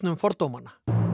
fordómanna